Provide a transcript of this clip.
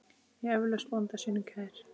Eflaust bónda sínum kær.